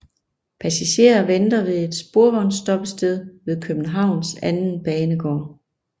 Passagerer venter ved et sporvognsstoppested ved Københavns anden banegård